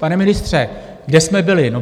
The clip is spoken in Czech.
Pane ministře, kde jsme byli?